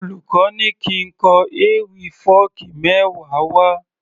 Olùkó ní kín kọ ewì fọ́ọ̀kí mẹ́wa wá